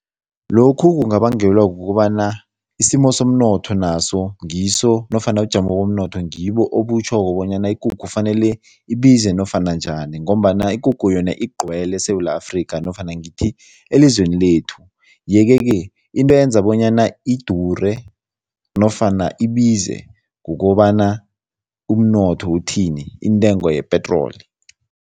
Lokhu kungabangelwa kukobana isimo somnotho naso ngiso nofana ubujamo bomnotho ngibo obutjhoko bonyana ikukhu fanele ibize nofana njani ngombana ikukhu yona igcwele eSewula Afrika nofana ngithi elizweni lethu yeke-ke into eyenza bonyana idure nofana ibize kukobana umnotho uthini, intengo yepetroli.